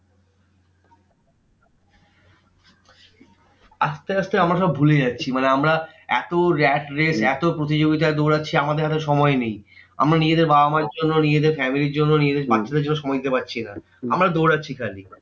আসতে আসতে আমরা সব ভুলে যাচ্ছি মানে আমরা এত rat race এত প্রতিযোগিতায় দৌড়াচ্ছে আমাদের এত সময় নেই। আমরা নিজেদের বাবা মার্ জন্য, নিজেদের family র জন্য, নিজেদের বাচ্চাদের জন্য সময় দিতে পাচ্ছি না। আমরা দৌড়াচ্ছি খালি।